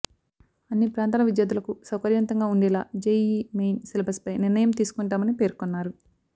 అన్ని ప్రాంతాల విద్యార్థులకు సౌకర్యవంతగా ఉండేలా జెఇఇ మెయిన్ సిలబస్పై నిర్ణయం తీసుకుంటామని పేర్కొన్నారు